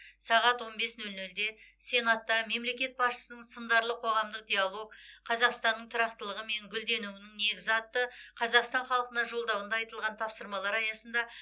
сағат он бес нөл нөлде сенатта мемлекет басшысының сындарлы қоғамдық диалог қазақстанның тұрақтылығы мен гүлденуінің негізі атты қазақстан халқына жолдауында айтылған тапсырмалар аясында